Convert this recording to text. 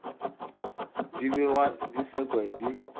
di begwa di sekwa di